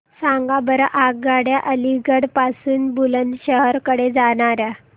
सांगा बरं आगगाड्या अलिगढ पासून बुलंदशहर कडे जाणाऱ्या